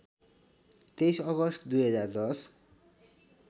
२३ August २०१०